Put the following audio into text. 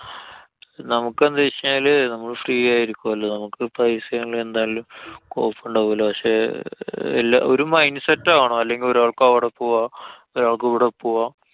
നമുക്കെന്താന്നു വച്ചു കഴിഞ്ഞാല്, നമ്മളു free ആയിരിക്കൊല്ലോ. നമുക്ക് പൈസായാലും എന്തായാലും കൊഴപ്പണ്ടാവൂലാ. പക്ഷെ അഹ് എല്ലാ~ ഒരു mind set ആവണം. അല്ലെങ്കില്‍ ഒരാള്‍ക്ക് അവടെ പോവാ. ഒരാള്‍ക്ക് ഇവടെ പോവാം.